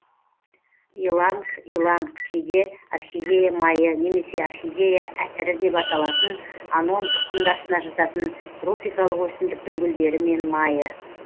иланг иланг кейде орхидея майы немесе орхидея әтірі деп аталатын анон тұқымдасына жататын тропикалық өсімдіктің гүлдері мен майы